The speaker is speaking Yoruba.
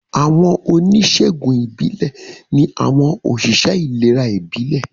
Àwọn onísègùn ìbílẹ̀ ní àwọn òṣìṣẹ́ ìlera ìbílẹ̀